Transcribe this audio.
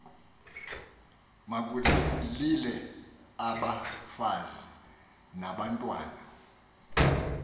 makulile abafazi nabantwana